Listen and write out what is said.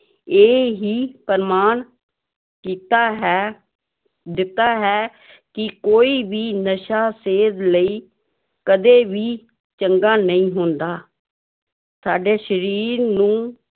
ਇਹ ਹੀ ਪ੍ਰਮਾਣ ਕੀਤਾ ਹੈ ਦਿੱਤਾ ਹੈ ਕਿ ਕੋਈ ਵੀ ਨਸ਼ਾ ਸਿਹਤ ਲਈ ਕਦੇ ਵੀ ਚੰਗਾ ਨਹੀਂ ਹੁੰਦਾ ਸਾਡੇ ਸਰੀਰ ਨੂੰ